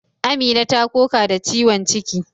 Amina ta koka da ciwon ciki.